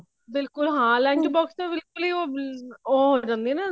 ਬਿਲਕੁੱਲ ਹਾਂ lunch box ਚ ਤਾਂ ਬਿਲਕੁੱਲ ਹੀ ਉਹ ਉਹ ਹੋ ਜਾਂਦੀ ਐ ਨਾ